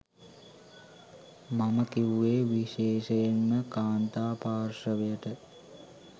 මම කිව්වේ විශේෂයෙන්ම කාන්තා පාර්ශවයට.